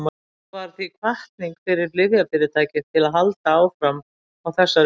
þetta varð því hvatning fyrir lyfjafyrirtæki til að halda áfram á þessari braut